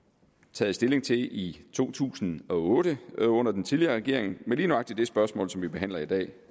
taget stilling til i to tusind og otte under den tidligere regering men lige nøjagtig det spørgsmål som vi behandler i dag